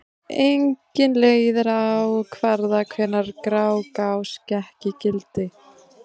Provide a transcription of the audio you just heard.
Engin leið er að ákvarða hvenær Grágás gekk í gildi.